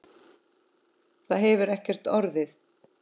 Það hefur ekki orðið.